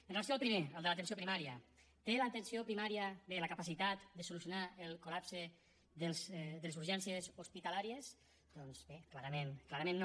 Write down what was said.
amb relació al primer el de l’atenció primària té l’atenció primària bé la capacitat de solucionar el col·lapse de les urgències hospitalàries doncs bé clarament clarament no